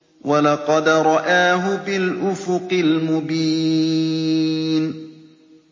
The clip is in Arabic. وَلَقَدْ رَآهُ بِالْأُفُقِ الْمُبِينِ